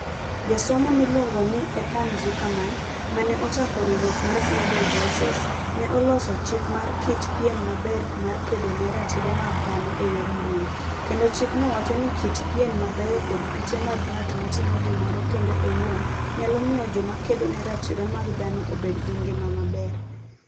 Jasomo miluongo ni Ethan Zuckerman (ma ne ochako riwruok mar Global Voices) ne oloso "chik mar kit pien maber mar kedo ne ratiro mag dhano e yor mbui", kendo chikno wacho ni kit pien mabeyo kod piche mag ng'at matimo gimoro kende owuon, nyalo miyo joma kedo ne ratiro mag dhano obed gi ngima maber.